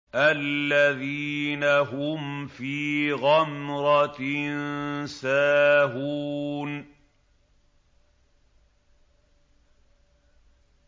الَّذِينَ هُمْ فِي غَمْرَةٍ سَاهُونَ